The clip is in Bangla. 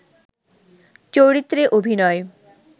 চরিত্রে অভিনয়